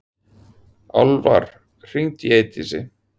Álfar, hringdu í Eydísi.